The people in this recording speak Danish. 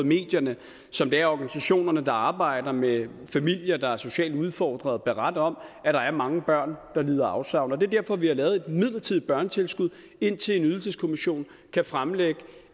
medierne som de organisationer der arbejder med familier der er socialt udfordrede beretter om at der er mange børn der lider afsavn og det er derfor vi har lavet et midlertidigt børnetilskud indtil en ydelseskommission kan fremlægge